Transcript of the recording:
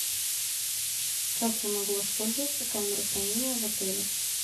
как я могу воспользоваться камерой хранения в отеле